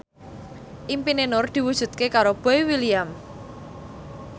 impine Nur diwujudke karo Boy William